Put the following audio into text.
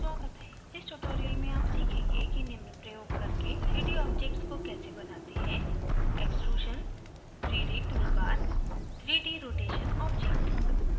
इस tutorial में आप सीखेंगे कि निम्न प्रयोग करके 3d objects को कैसे बनाते हैं: